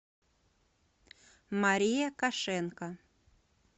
мария кошенко